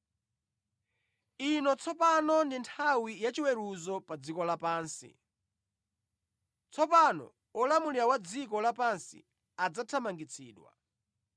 Ino tsopano ndi nthawi yachiweruzo pa dziko lapansi; tsopano olamulira wa dziko lapansi adzathamangitsidwa.